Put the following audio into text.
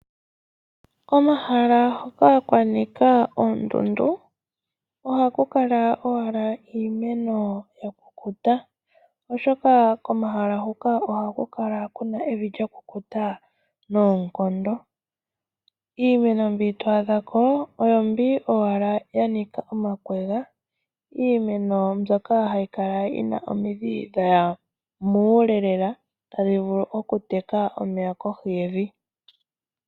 Komahala hoka kwanika oondundu ohaku kala owala iimeno yakukuta oshoka komahala hoka ohaku kala kuna evi lyakukuta noonkondo. Iimeno mbi to adha ko oyombi owala yanika omakwega iimeno mbyo yina omidhi dhaya muule lela adhi vulh okuteka omeya kohi yevi.